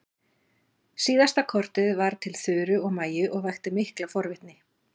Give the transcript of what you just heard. Síðasta kortið var til Þuru og Maju og vakti mikla forvitni.